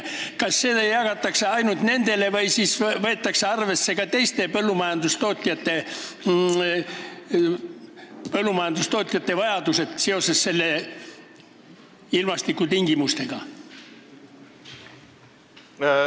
Kas seda jagatakse ainult nendele või võetakse arvesse ka teiste põllumajandustootjate vajadusi seoses ilmastikutingimustega?